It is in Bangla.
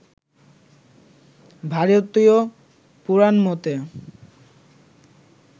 ভারতীয় পুরাণমতে